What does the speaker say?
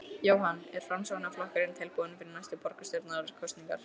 Jóhann: Er Framsóknarflokkurinn tilbúinn fyrir næstu borgarstjórnarkosningar?